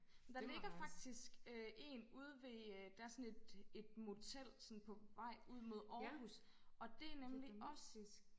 Der ligger faktisk øh én ude ved øh der sådan et et motel sådan på vej ud mod Århus og det nemlig også